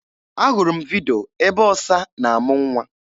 Ahụrụ m vidyo ebe ọsa na-amụ nwa.